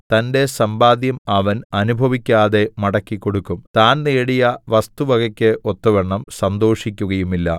തന്റെ സമ്പാദ്യം അവൻ അനുഭവിക്കാതെ മടക്കിക്കൊടുക്കും താൻ നേടിയ വസ്തുവകയ്ക്ക് ഒത്തവണ്ണം സന്തോഷിക്കുകയുമില്ല